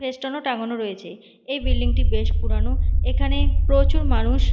festoon -ও টাঙ্গানো রয়েছে এই বিল্ডিং -টি বেশ পুরানো এখানে প্রচুর মানুষ--